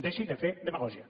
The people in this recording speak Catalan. deixi de fer demagògia